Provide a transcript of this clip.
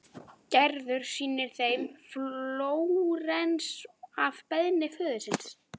Gerður sýnir þeim Flórens að beiðni föður síns.